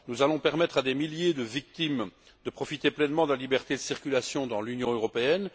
Nous allons permettre à des milliers de victimes de profiter pleinement de la liberté de circulation dans l'Union européenne.